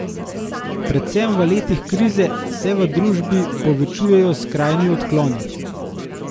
Predvsem v letih krize se v družbi povečujejo skrajni odkloni.